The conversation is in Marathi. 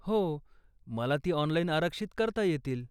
हो, मला ती ऑनलाइन आरक्षित करता येतील.